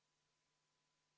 V a h e a e g